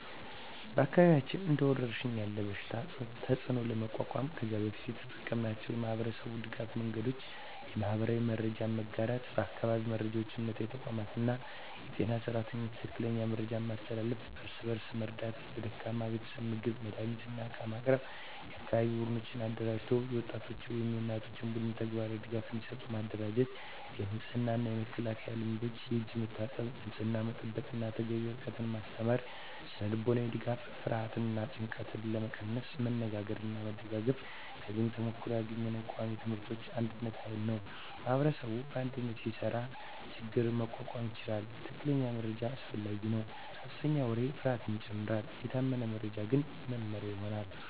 በአካባቢያችን እንደ ወረሽኝ ያለ በሽታ ተፅዕኖ ለመቋቋም ከዚህ በፊት የተጠቀምናቸው የማህበረሰብ ድገፍ መንገዶች :- የማህበራዊ መረጃ መጋራት በአካባቢ መሪዎች፣ እምነታዊ ተቋማት እና የጤና ሰራተኞች ትክክለኛ መረጃ ማስተላለፍ። እርስ በእርስ መርዳት ለደካማ ቤተሰቦች ምግብ፣ መድሃኒት እና ዕቃ ማቅረብ። የአካባቢ ቡድኖች አደራጀት የወጣቶች ወይም የእናቶች ቡድኖች ተግባራዊ ድጋፍ እንዲሰጡ ማደራጀት። የንጽህና እና መከላከያ ልምዶች የእጅ መታጠብ፣ ንጽህና መጠበቅ እና ተገቢ ርቀት ማስተማር። ስነ-ልቦናዊ ድጋፍ ፍርሃትን እና ጭንቀትን ለመቀነስ መነጋገርና መደጋገፍ። ከዚህ ተሞክሮ ያገኘነው ቃሚ ትምህርቶች አንድነት ኃይል ነው ማኅበረሰብ በአንድነት ሲሰራ ችግኝ መቋቋም ይቻላል። ትክክለኛ መረጃ አስፈላጊ ነው ሐሰተኛ ወሬ ፍርሃትን ይጨምራል፤ የታመነ መረጃ ግን መመሪያ ይሆናል።